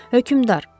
Hökmdar!